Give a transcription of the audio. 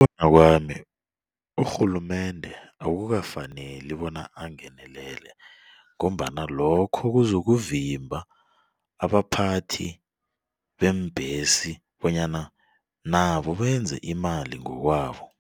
Ngokubona kwami urhulumende akukafaneli bona angenelele ngombana lokho kuzokuvimba abaphathi beembhesi bonyana nabo benze imali ngokwabo.